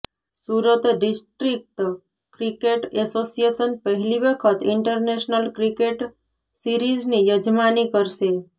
Surat district cricket association પહેલી વખત international cricket સીરિઝની યજમાની કરશે